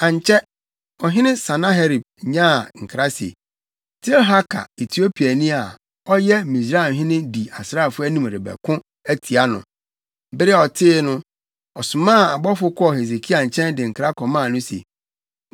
Ankyɛ, ɔhene Sanaherib nyaa nkra se, Tirhaka Etiopiani a ɔyɛ Misraimhene di asraafo anim rebɛko atia no. Bere a ɔtee no, ɔsomaa abɔfo kɔɔ Hesekia nkyɛn de nkra kɔmaa no se,